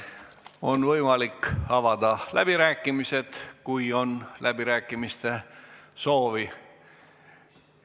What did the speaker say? On võimalik avada läbirääkimised, kui on läbirääkimiste soovi.